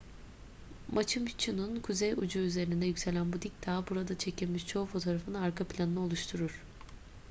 machu piccu'nun kuzey ucu üzerinde yükselen bu dik dağ burada çekilmiş çoğu fotoğrafın arka planını oluşturur